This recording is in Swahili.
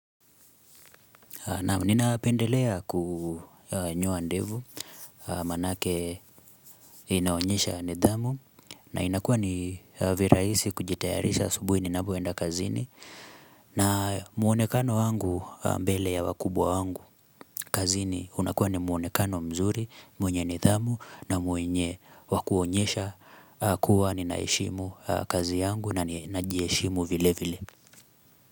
Naam ninapendelea kunyoa ndevu manake inaonyesha nidhamu na inakuwa ni viraisi kujitayarisha asubuhi ninapoenda kazini na muonekano wangu mbele ya wakubwa wangu kazini unakuwa ni muonekano mzuri mwenye nidhamu na mwenye wa kuonyesha kuwa ni ninaheshimu kazi yangu na najiheshimu vile vile.